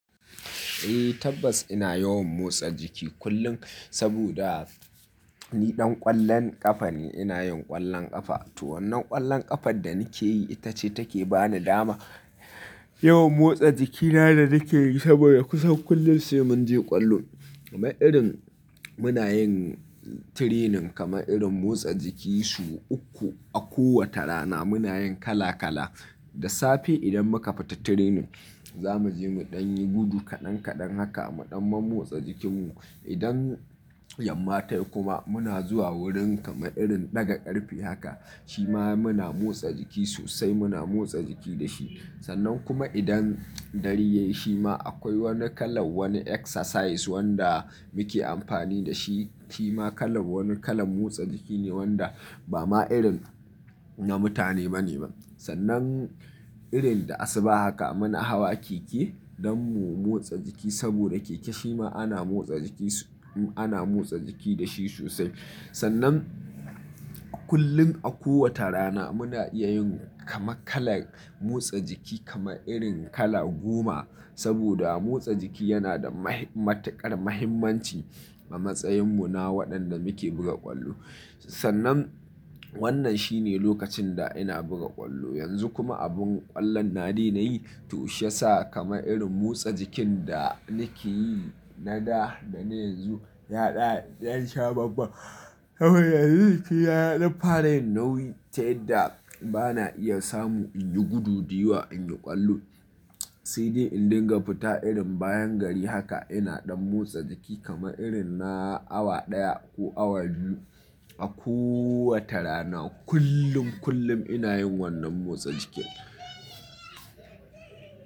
Eh tabbas ina yawan motsa jiki kullum saboda ni ɗan ƙwallon ƙafa ne. Ina yin ƙwallon ƙafa. To wannan ƙwallon ƙafar da nake yi ita ce take bani dama yawan motsa jikina da nake yi saboda kusan kullum sai mun je ƙwallo. Kama irin muna yin training kama irin motsa jiki su uku a kowace rana muna yin kala kala. Da safe idan muka fita training za mu je muɗan yi gudu kaɗan kaɗan haka muɗan mu motsa jikinmu. Idan yamma ta yi kuma muna zuwa wurin kama irin daga ƙarfe haka shi ma muna motsa jiki sosai muna motsa jiki da shi. Sannan kuma idan dare ya yi shi ma akwai wani kalan wani exercise wanda muke amfani da shi shi ma kalan wani kalan motsa jiki ne wanda ba ma irin na mutane ba ne ba. Sannan irin da asuba haka muna hawa keke don mu motsa jiki saboda keke shi ma ana motsa jiki su-- ana motsa jiki da shi sosai. Sannan kullum a kowace rana muna iya yin kama kala motsa jiki kama irin kala goma saboda motsa jiki yana da mahi-- matuƙar muhimmanci a matsayinmu na waɗanda muke buga ƙwallo. Sannan wannan shi ne lokacin da ina buga ƙwallo. Yanzu kuma abin ƙwallon na daina yi to shi ya sa kama irin motsa jikin da nake yi na da da na yanzu ya ɗaya dan sha bambam. Saboda yanzu jikina ya dan fara yin nauyi ta yadda ba na iya samu in yi gudu da yiwa, in yi ƙwallo. Sai dai in dinga fita irin bayan gari haka ina ɗan motsa jiki kama irin na awa ɗaya ko awa biyu a koowace rana kullum, kullum ina yin wannan motsa jikin.